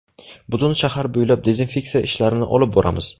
Butun shahar bo‘ylab dezinfeksiya ishlarini olib boramiz.